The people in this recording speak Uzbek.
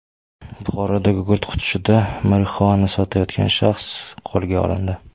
Buxoroda gugurt qutisida marixuana sotayotgan shaxs qo‘lga olindi.